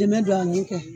Dɛmɛ don ani